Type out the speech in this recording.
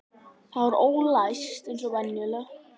Það var ólæst eins og venjulega.